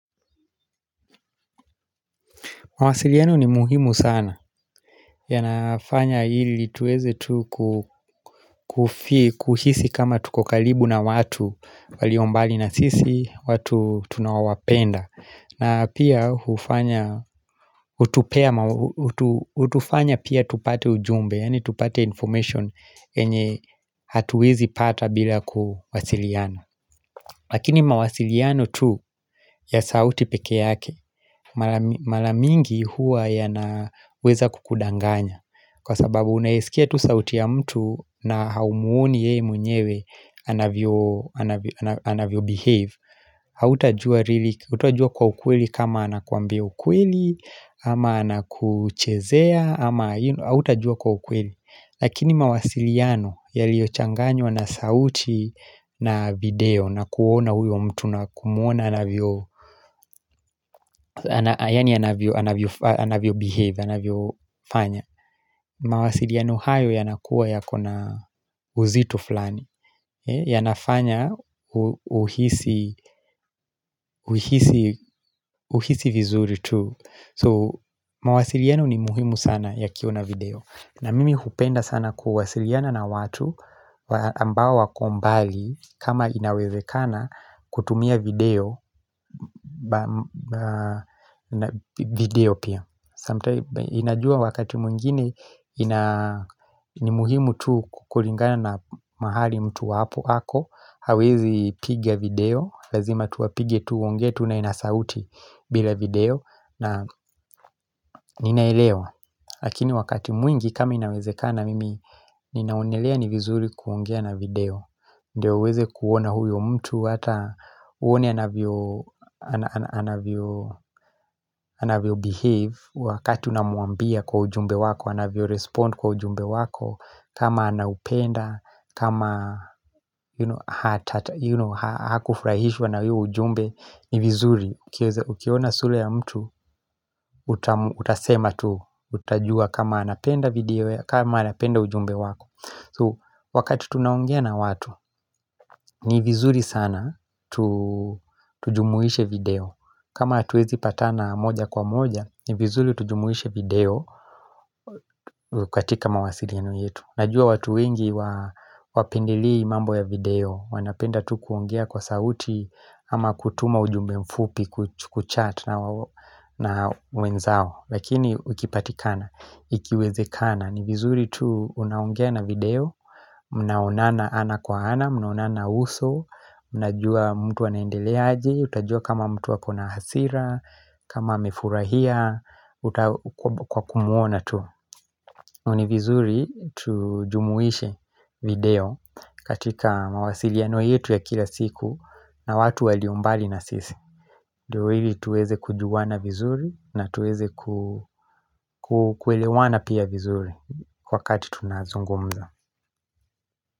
Mawasiliano ni muhimu sana. Yanafanya hili tuweze tu kuhisi kama tuko kalibu na watu waliombali na sisi, watu tunaowapenda. Na pia utufanya pia tupate ujumbe, yani tupate information yenye hatuwezi pata bila kuwasiliano. Lakini mawasiliano tu ya sauti peke yake, mala mingi huwa ya naweza kukudanganya Kwa sababu unayesikia tu sauti ya mtu na haumuoni yeye mwenyewe anavyo behave hauta jua kwa ukweli kama anakuambia ukweli ama anakuchezea ama hauta jua kwa ukweli Lakini mawasiliano yaliochanganywa na sauti na video na kuona huyo mtu na kumuona anavyo Yani anavyo behave, anavyo fanya mawasiliano hayo yanakuwa yakona uzito fulani ya nafanya uhisi uhisi vizuri tu So mawasiliano ni muhimu sana yakiwa na video na mimi hupenda sana kuwasiliana na watu ambao wako mbali kama inawezekana kutumia video pia Inajua wakati mwingine ni muhimu tu kukulingana na mahali mtu wapo ako hawezi piga video, lazima tu apige tuongee tu naye na sauti bila video na ninaelewa Lakini wakati mwingi kama inawezekana mimi ninaonelea ni vizuri kuongea na video Ndio uweze kuona huyo mtu hata uone anavyo anavyo behave wakati unamuambia kwa ujumbe wako anavyo respond kwa ujumbe wako kama anaupenda, kama hakufurahishwa na hio ujumbe ni vizuri Ukiona sula ya mtu utasema tu Utajua kama anapenda video ya kama anapenda ujumbe wako So wakati tunaongea na watu ni vizuri sana tujumuishe video kama hatuwezi patana moja kwa moja ni vizuri tujumuishe video katika mawasiliano yetu Najua watu wengi wapendelei mambo ya video wanapenda tu kuongea kwa sauti ama kutuma ujumbe mfupi Kuchat na wenzao Lakini ukipatikana Ikiwezekana ni vizuri tu unaongea na video Mnaonana ana kwa ana Mnaonana uso Mnajua mtu anaendelea aje Utajua kama mtu akona hasira kama amefurahia Kwa kumuona tu ni vizuri tujumuishe video katika mawasiliano yetu ya kila siku na watu waliombali na sisi Dio hili tuweze kujuwana vizuri na tuweze kukwelewana pia vizuri wakati tunazungumza.